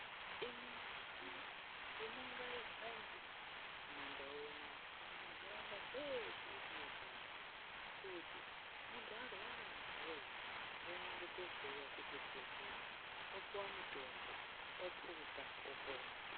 Imi nai nduma ngaihambe kumandau unono kana muntaraunda dzeshe dzetinogara. Kuti muntu arwara antu voye ngaende kohloiwa kuchibhedhlera opuva mutombo opuza opona.